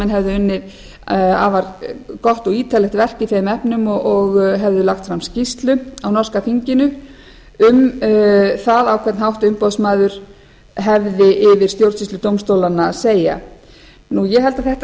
hefðu unnið afar gott og ítarlegt verk í þeim efnum og hefðu lagt fram skýrslu á norska þinginu um það á hvern hátt umboðsmaður hefði yfir stjórnsýsludómstólana að segja ég held að þetta